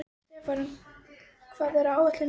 Stefán, hvað er á áætluninni minni í dag?